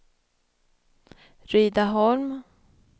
Rydaholm